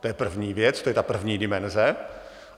To je první věc, to je ta první dimenze.